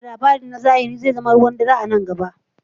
Ba da labari na zahiri zai zama ruwan dare a nan gaba.